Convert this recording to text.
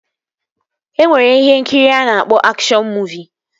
E nwere ihe nkiri a na-akpọ akshọn muuvi